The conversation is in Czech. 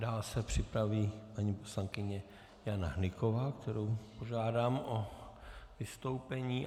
Dále se připraví paní poslankyně Jana Hnyková, kterou požádám o vystoupení.